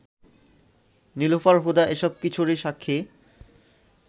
নীলুফার হুদা এসব-কিছুরই সাক্ষী